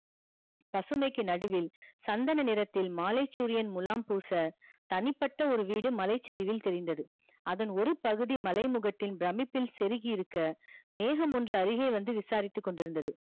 பசுமைக்கு நடுவில் சந்தன நிறத்தில் மாலைச்சூரியன் முலாம் பூச தனிப் பட்ட ஒரு வீடு மலைச் சருவில் தெரிந்தது அதன் ஒரு பகுதி மலைமுகட்டின் பிரமிப்பில்செருகி இருக்க மேகம் ஒன்று அருகே வந்து விசாரித்து கொண்டி இருந்தது